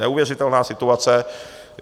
Neuvěřitelná situace.